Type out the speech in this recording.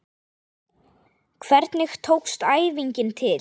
Hvernig tókst æfingin til?